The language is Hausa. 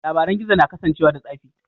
Labaran gizo na kasancewa da tsafi.